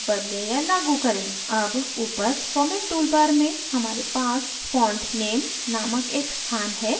अब ऊपर format toolbar में हमारे पास font name named एक स्थान है